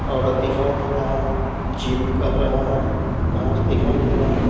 औरत दिखाई दे रहा है जिम कर रहा है घास दिखाई दे रहा है।